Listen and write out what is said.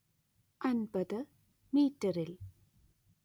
അന്‍പത്ത് മീറ്ററിൽ